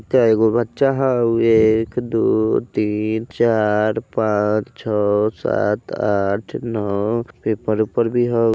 कै गो बच्चा होऊ एक दू तीन चार पाँच छ सात आठ नौ पेपर - ऊपर भी होऊ।